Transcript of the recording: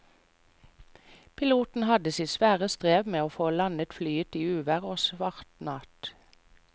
Piloten hadde sitt svare strev med å få landet flyet i uvær og svart natt.